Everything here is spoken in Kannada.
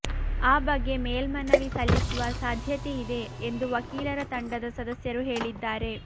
ಆ ಬಗ್ಗೆ ಮೇಲ್ಮನವಿ ಸಲ್ಲಿಸುವ ಸಾಧ್ಯತೆ ಇದೆ ಎಂದು ವಕೀಲರ ತಂಡದ ಸದಸ್ಯರು ಹೇಳಿದ್ದಾರೆ